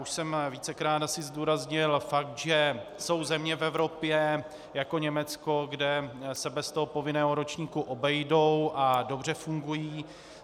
Už jsem vícekrát asi zdůraznil fakt, že jsou země v Evropě jako Německo, kde se bez toho povinného ročníku obejdou a dobře fungují.